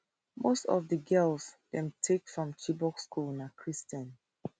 most of di girls dem take from chibok school na christian